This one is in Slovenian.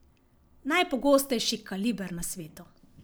Najpogostejši kaliber na svetu.